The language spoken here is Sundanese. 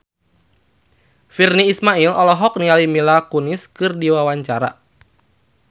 Virnie Ismail olohok ningali Mila Kunis keur diwawancara